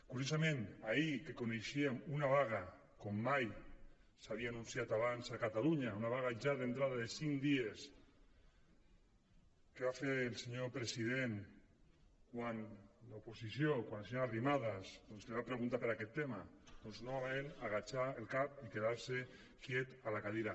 curiosament ahir que coneixíem una vaga com mai s’havia anunciat abans a catalunya una vaga ja d’entrada de cinc dies què va fer el senyor president quan l’oposició quan la senyora arrimadas li va preguntar per aquest tema doncs novament acotar el cap i quedar se quiet a la cadira